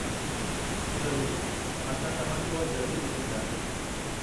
ज़रूरु, असां तव्हां खे उहा जल्द ई मोकलींदासीं।